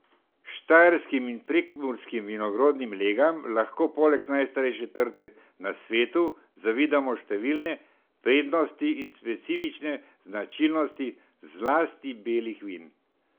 Štajerskim in prekmurskim vinorodnim legam lahko poleg najstarejše trte na svetu zavidamo številne prednosti in specifične značilnosti zlasti belih vin.